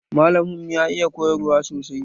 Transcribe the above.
Malamin mu ya iya koyarwa sosai